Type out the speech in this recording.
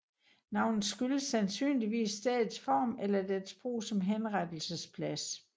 Navnet skyldes sandsynligvis stedets form eller dets brug som henrettelsesplads